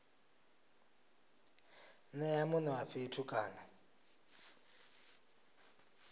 nea mune wa fhethu kana